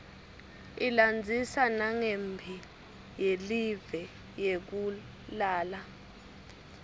ilandzisa nanqemphi yeliue yekulala